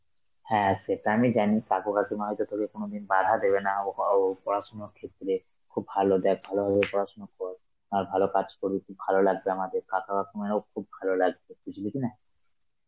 হ্যাঁ সেটা আমি জানি, কাকু কাকিমা হয়তো তোকে কোনদিন বাধা দেবে না ও আ ও পড়াশোনার ক্ষেত্রে, খুব ভালো দেয়~ ভালোভাবে পড়াশোনা কর, আর ভালো কাজ করবি তুই ভালো লাগবে আমাদের, কাকা কাকিমারো খুব ভালো লাগবে, বুঝলি কিনা?